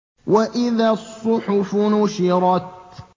وَإِذَا الصُّحُفُ نُشِرَتْ